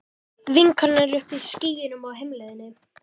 Vinkonan er uppi í skýjunum á heimleiðinni.